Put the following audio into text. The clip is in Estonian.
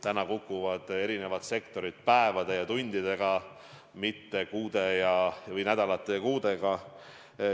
Praegu kukuvad eri sektorid päevade ja tundidega, mitte nädalate või kuudega.